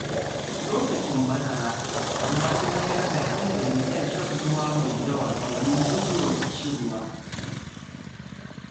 Lokacin bazara, na fi mayar da hankali kan shan ruwa mai yawa domin guje wa ƙishirwa.